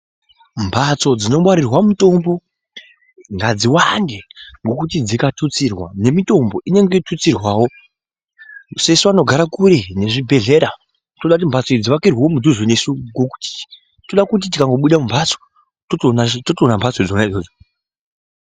Mbatso dzinongwarira mitombo ngadziwande nokuti dzikatutsirwa nemitombo inenge yotutsirwao sesu vanogara kure nezvibhedhlera toda kuti mhatso idzi dzivakirweo kuduze nesu tode kuti tikangobuda mumbatso totoona mbatso dzona idzodzo.